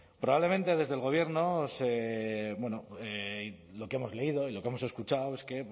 probablemente desde el gobierno se bueno lo que hemos leído y lo que hemos escuchado es que